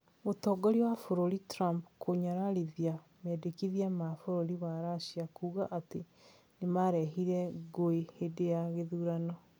Mũtongoria wa bũrũri Trump kũnyararithia mendikithia ma bũrũri wa Russia kuuga atĩ nĩmarehire ngũĩ hĩndĩ ya gĩthurano